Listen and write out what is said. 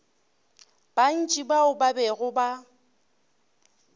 bantši bao ba bego ba